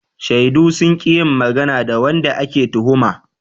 Shaidu sun ƙi yin magana da wanda ake tuhuma.